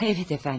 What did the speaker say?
Evet əfəndim.